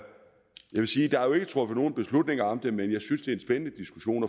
truffet nogen beslutninger om det men jeg synes en spændende diskussion